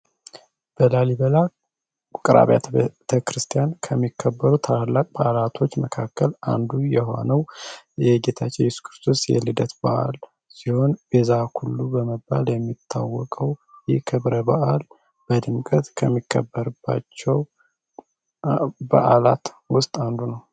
በላሊበላ ውቅር አብያተ ቤተክርስቲያን ከሚከበሩ ታላላቅ ፓርቲዎች መካከል አንዱ የሆነው የጌታቸው የኢየሱስ ክርስቶስ የልደት በዓል ሲሆን ቤዛ ኩሉ በመባል የሚታወቀው የክብረ በዓል በድንገት ከሚከበር ውስጥ አንዱ ነው።